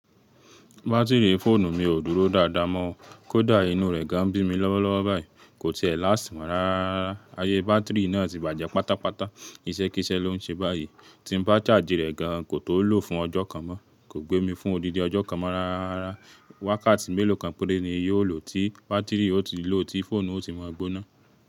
Batiri fóònù mi ò dúró dáadáa mọ o. Kódà inú rẹ̀ gan bí mi lọ́wọ́ lọ́wọ́ báyìí, kò tí e láṣt mọ́ rárárara. Ayé bátìrì náà ti bàjẹ́ pátápátá. Iṣẹ́ kíṣẹ́ ló ń ṣe báyìí. Tí n bá chaaji rẹ̀ gan, kò tó lo fún ọjọ́ kan mọ. Kò gbé mi fún odidi ọjọ́ kan mọ́ rárá. Wákàtí mélòó kan péré ni yóò lọ́ tí bátìrì ó ti lo, tí fóònù ó ti maa gbóná.